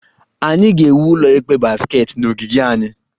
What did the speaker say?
Anyị ga-ewu ụlọ ikpe basketball na ogige anyị